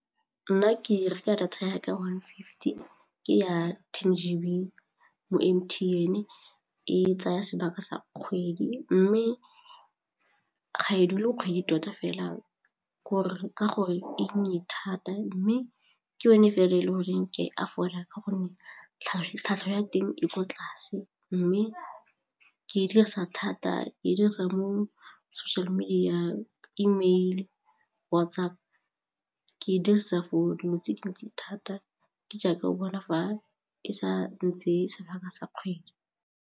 Nna ke reka data ya ka one fifty, ke ya ten G_B mo M_T_N e tsaya sebaka sa kgwedi mme ga e dule kgwedi tota fela ka gore e nnye thata mme ke yone fela e le goreng ke aforika ka gonne tlhwatlhwa ya teng e ko tlase mme ke dirisa thata e dirisa mo social media, E-mail, WhatsApp ke dirisa for dilo tse dintsi thata ke jaaka o bona fa e sa ntseye sebaka sa kgwedi.